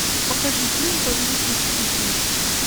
покажи фильм повелитель стихий